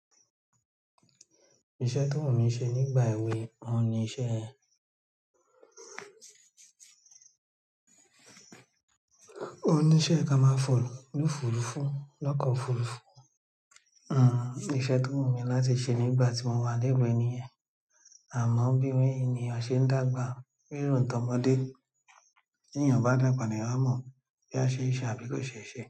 Iṣẹ́ tó wù mí ṣe nígbà èwe, òní iṣẹ́ ẹ. Oníṣẹ́ ka máa fò lófùrùfú lọ́ko ofùrùfú. Iṣẹ́ tó wù mí láti ṣe nígbà tí mo wà lewe niyẹn. Àmọ́ bí ènìyàn ṣẹ ń dàgbà, ríro n t'ọmọdé. Ti eeyan ba dagaba, l'eeyan a mo boya a seese àbí ko seese.